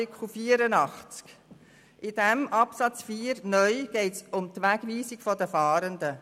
Bei Absatz 4 (neu) geht es um die Wegweisung von Fahrenden.